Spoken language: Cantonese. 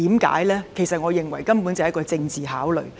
其實，我認為根本就是一個政治考慮。